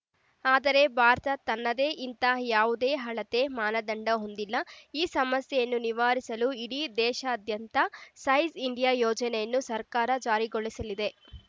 ಆದರೆ ಭಾರತ ತನ್ನದೇ ಇಂಥ ಯಾವುದೇ ಅಳತೆ ಮಾನದಂಡ ಹೊಂದಿಲ್ಲ ಈ ಸಮಸ್ಯೆಯನ್ನು ನಿವಾರಿಸಲು ಇಡೀ ದೇಶಾದ್ಯಂತ ಸೈಜ್‌ ಇಂಡಿಯಾ ಯೋಜನೆಯನ್ನು ಸರ್ಕಾರ ಜಾರಿಗೊಳಿಸಲಿದೆ